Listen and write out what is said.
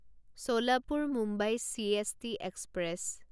Solapur Mumbai CST express